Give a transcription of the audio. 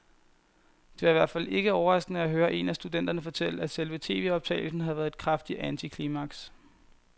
Det var i hvert fald ikke overraskende at høre en af studenterne fortælle, at selve tvoptagelsen havde været et kraftigt antiklimaks.